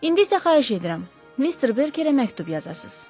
İndi isə xahiş edirəm, Mister Berkerə məktub yazasız.